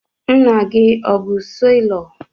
Nna gị o bụ selọ?